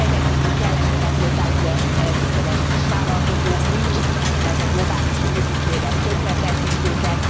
Ezen kívül kellenének hozzá ugye sikeres kisvállalkozók nincsenek, mert a globális multicégek tönkretették őket.